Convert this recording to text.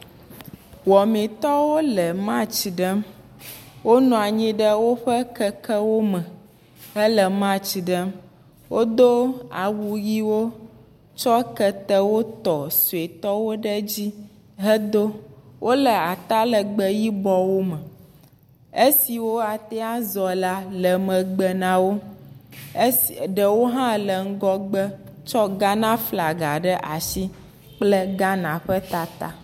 Wɔmitɔwo le matsi ɖem wonɔ anyi ɖe woƒe kekewo me, hele matsi ɖem wodo awu ʋiwo tsɔ ketewo tɔ suetɔwo ɖe edzi wole ata legbee yibɔwo me esiwo ate ŋu azɔ la le megbe na wo, esss.. ɖewo hã le ŋgɔgbe tsɔ Ghana flaga ɖe asi kple Ghana ƒe tata.